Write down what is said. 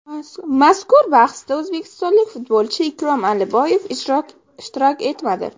Mazkur bahsda o‘zbekistonlik futbolchi Ikrom Aliboyev ishtirok etmadi.